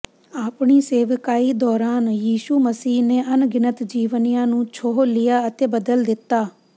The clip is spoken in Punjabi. ਆਪਣੀ ਸੇਵਕਾਈ ਦੌਰਾਨ ਯਿਸੂ ਮਸੀਹ ਨੇ ਅਣਗਿਣਤ ਜੀਵਨੀਆਂ ਨੂੰ ਛੋਹ ਲਿਆ ਅਤੇ ਬਦਲ ਦਿੱਤਾ